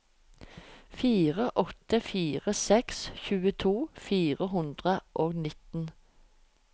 fire åtte fire seks tjueto fire hundre og nitten